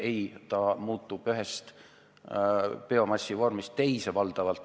Ei, üks biomassi vorm asendub teisega.